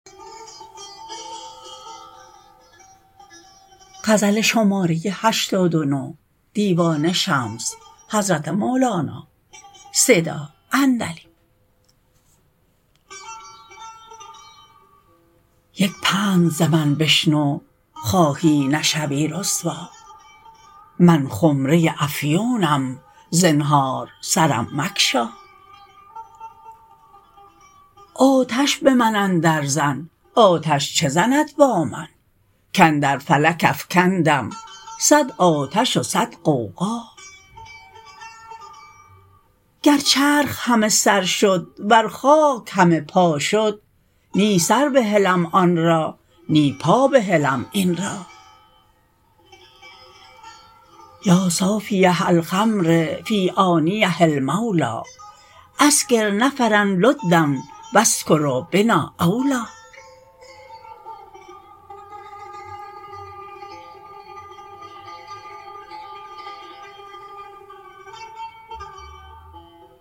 یک پند ز من بشنو خواهی نشوی رسوا من خمره ی افیونم زنهار سرم مگشا آتش به من اندرزن آتش چه زند با من کاندر فلک افکندم صد آتش و صد غوغا گر چرخ همه سر شد ور خاک همه پا شد نی سر بهلم آن را نی پا بهلم این را یا صافیه الخمر فی آنیه المولی اسکر نفرا لدا و السکر بنا اولی